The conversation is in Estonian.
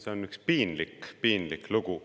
See on üks piinlik lugu.